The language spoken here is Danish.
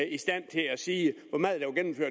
i stand til at sige hvor meget